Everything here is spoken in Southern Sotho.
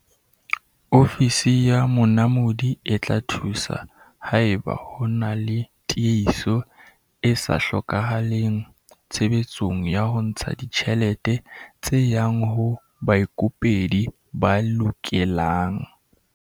Ofisi ya Monamodi e tla thusa haeba ho na le tiehiso e sa hlokahaleng tshebetsong ya ho ntsha ditjhelete tse yang ho baikopedi ba lokelang.